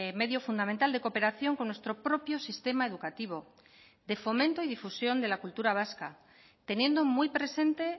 medio fundamental de cooperación con nuestro propio sistema educativo de fomento y difusión de la cultura vasca teniendo muy presente